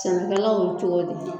Sannikɛlaw cogo de ye